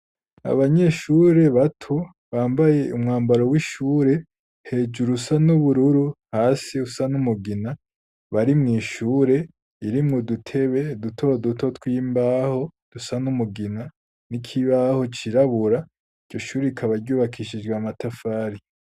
Abanyeshure bato, bambaye umwambaro w'ishure; hejuru usa n'ubururu, hasi usa n'umugina; bari mw'ishure, irimwo udutebe duto duto, tw'imbaho, dusa n'umugina, n'ik'ibaho cirabura; iryo shuri, rikaba ryubakishijwe, amatafari.